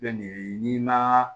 n'i ma